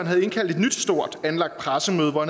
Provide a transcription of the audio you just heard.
havde indkaldt et nyt stort anlagt pressemøde hvor